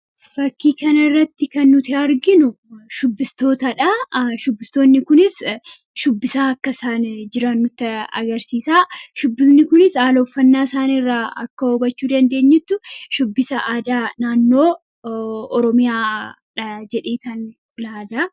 Fakkii kana irratti kan nuti arginu shubbistoota. shubbistoonni kunis shubbisaa akka isaan jiran nutti agarsiisaa. shubbisoonni kunis haala uffannaa isaanirraa akka hubachuu dandeenyutti shubbisa aadaa naannoo oromiyaadha jedheetan yaada.